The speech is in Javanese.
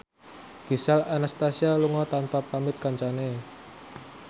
Gisel Anastasia lunga tanpa pamit kancane